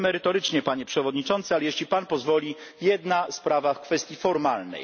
Tyle merytorycznie, Panie Przewodniczący, ale jeśli Pan pozwoli, jedna sprawa w kwestii formalnej.